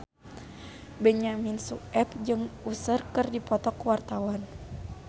Benyamin Sueb jeung Usher keur dipoto ku wartawan